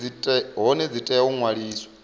hone dzi tea u ṅwaliswa